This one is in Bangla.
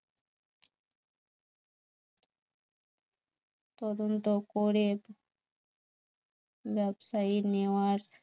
তদন্ত করে ব্যবসায়ী নেওয়ার